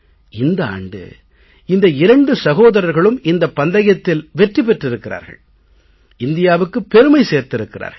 இந்த ஆண்டு இந்த இரண்டு சகோதரர்களும் இந்தப் பந்தயத்தில் வெற்றி பெற்றிருக்கிறார்கள் இந்தியாவுக்கு பெருமை சேர்த்திருக்கிறார்கள்